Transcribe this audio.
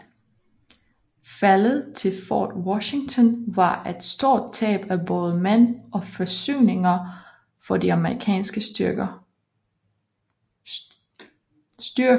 Faldet til Fort Washington var et stort tab af både mænd og forsyninger for de amerikanske styrker